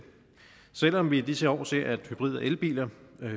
selv om vi i disse år ser at hybrid og elbiler